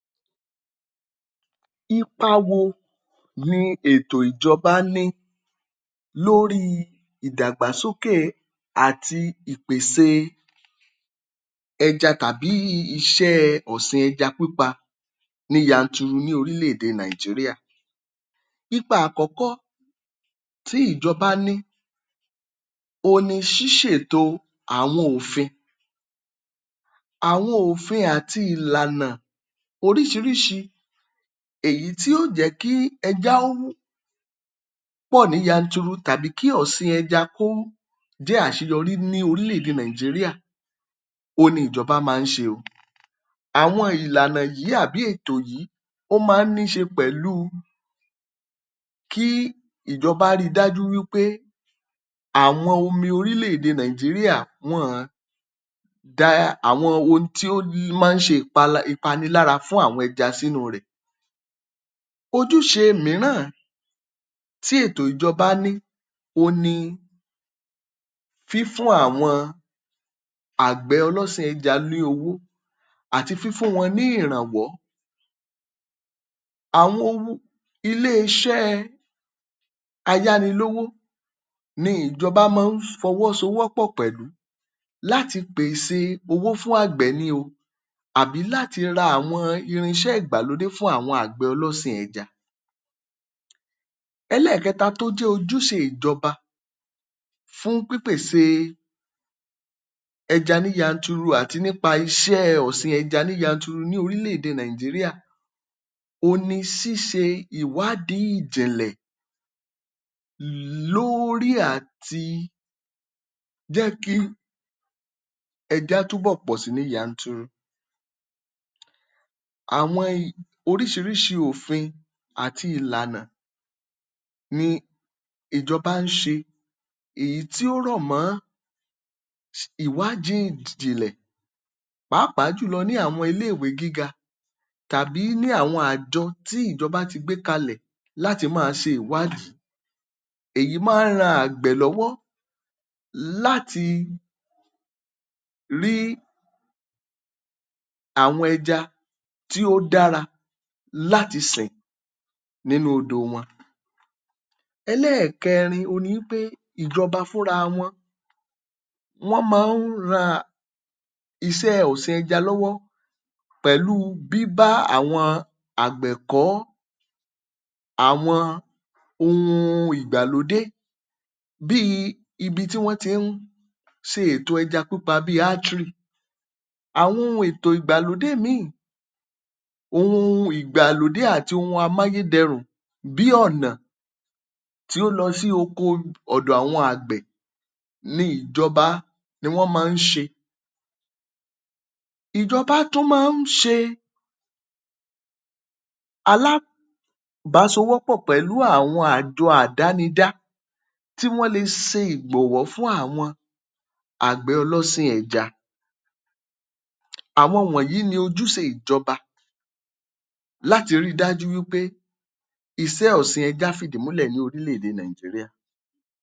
Ipa wo ni ètò ìjọba ní lórí i ìdàgbàsókè àti ìpèse ẹja tàbí iṣẹ́ ọ̀sìn ẹja pípa ní yanturu ní orílẹ̀-èdè Nigeria. Ipa àkọ́kọ́ tí ìjọba ní, òhun ni ṣíṣètò àwọn òfin. Àwọn òfin àti ìlànà oríṣiríṣi èyí tí yóò jẹ́ kí ẹja ó pọ̀ ní yanturu tàbí kí ọ̀sìn ẹja kó jẹ́ àṣeyọrí ní orílẹ̀-èdè Nigeria, òhun ni ìjọba máa ń ṣe o. àwọn ìlànà yìí àbí ètò yìí, ó máa ń ní í ṣe pẹ̀lú kí ìjọba rí i dájú wí pé àwọn omi orílẹ̀-èdè Nigeria wọn àn da àwọn ohun tí ó máa ń ṣe ìpa, ìpanilára fún àwọn ẹja sínú rẹ̀. Ojúṣe mìíràn tí ètò ìjọba ní òhun ni fífún àwọn àgbẹ̀ ọlọ́sìn ẹja ní owó àti fífún wọn ní ìrànwọ́. Àwọn Ilé-iṣẹ́ ayánilówó ni ìjọba máa ń fọwọ́sowọ́pọ̀ pẹ̀lú láti pèsè owó fún àgbẹ̀ ni o àbí láti ra àwọn irinṣẹ́ ìgbàlódé fún àwọn àgbẹ̀ ọlọ́sìn ẹja. Ẹlẹ́ẹ̀keta tó jẹ́ ojúṣe ìjọba fún pípèsè ẹja ní yanturu àti nípa iṣẹ́ ẹ ọ̀sìn ẹja ní yanturu ní orílẹ̀-èdè Nigeria, òhun ni ṣíṣe ìwádìí ìjìnlẹ̀ lórí àti jẹ́ kí ẹja tún bọ̀ pọ̀ si ní yanturu. Àwọn oríṣiríṣi òfin àti ìlànà ni ìjọba ń ṣe, èyí tí ó rọ̀ mọ́ ìwádìí ìjìnlẹ̀ pàápàá jùlọ ní àwọn ilé-ìwé gíga tàbí ní àwọn àjọ tí ìjọba ti gbé kalẹ̀ láti máa ṣe ìwádìí. Èyí máa ń ran àgbẹ̀ lọ́wọ́ láti rí àwọn ẹja tí ó dára láti sìn nínú odò wọn. Ẹlẹ́ẹ̀kẹrin ni wí pé ìjọba fúnra wọn, wọ́n máa ń ran iṣẹ́ ọ̀sìn ẹja lọ́wọ́ pẹ̀lú bíbá àwọn àgbẹ̀ kọ́ àwọn ohun ìgbàlódé bíi ibi tí wọ́n ti ń ṣe ètò ẹja pípa bíi artery. Àwọn ohun ètò ìgbàlódé míì, ohun ìgbàlódé àti ohun amáyédẹrùn bí ọ̀nà tí ó lọ sí oko ọ̀dọ̀ àwọn àgbẹ̀ ni ìjọba ni wọ́n máa ń ṣe. Ìjọba tún máa ń ṣe pẹ̀lú àwọn àjọ àdánidá tí wọ́n le se ìgbọ̀nwọ́ fún àwọn àgbẹ̀ ọlọ́sìn ẹja. Àwọn wọ̀nyí ni ojúṣe ìjọba láti rí i dájú pé iṣẹ́ ọ̀sìn ẹja fìdí múlẹ̀ ní orílẹ̀-èdè Nigeria.